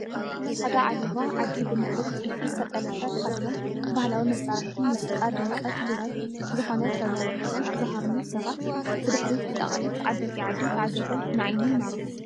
ፃዕዳ ዓለባ ዓዲ ብምዕሩግ ጥልፊ ዝተጠለፈ ተኸዲኖም ባህላዊ መሳሪሒ ሙዚቃ ድምቀት ውራይ ዝኾነ ከበሮ ሒዞም ዝሃርሙ ሰባት ብድሕሪት ብጣቂዕት ዓበይቲ ዓዲ ተዓጂቦም ንዓይኒ ይማርኹ፡፡